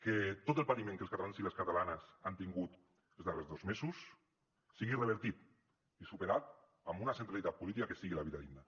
que tot el patiment que els catalans i les catalanes han tingut els darrers dos mesos sigui revertit i superat amb una centralitat política que sigui la vida digna